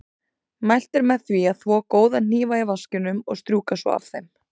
Mælt er með því að þvo góða hnífa í vaskinum og strjúka svo af þeim.